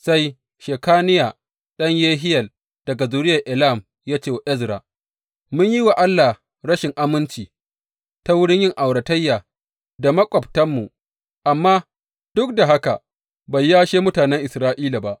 Sai Shekaniya ɗan Yehiyel, daga zuriyar Elam ya ce wa Ezra, Mun yi wa Allah rashin aminci ta wurin yin auratayya da maƙwabtanmu, amma duk da haka bai yashe mutanen Isra’ila ba.